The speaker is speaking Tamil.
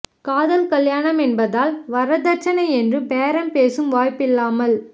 காதல் கல்யாணம் என்பதால் வரதட்சணை என்று பேரம் பேசவும் வாய்ப்பில்லாமல்